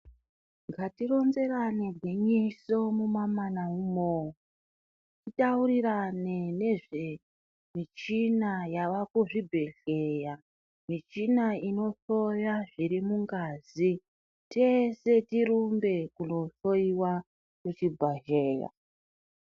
Ngatironzerane gwinyiso mumamana umo titaurirane nezvemichina yavakuzvibhdhlera michina inohloya zviri mungazi tese tirumbe knohloiwa kuzvibhadhlera.